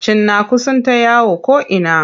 Cinnaku suna ta yawo ko'ina.